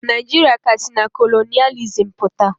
Naijiria ka si na kolonịalizim pụta.